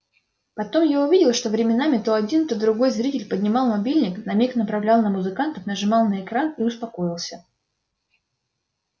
потом я увидел что временами то один то другой зритель поднимал мобильник на миг направлял на музыкантов нажимал на экран и успокоился